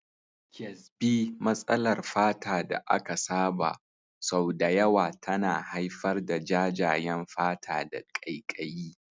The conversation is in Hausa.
Kyasbi, matsalar fata da aka saba, sau da yawa tana haifar da jajayen fata da ƙaiƙayi.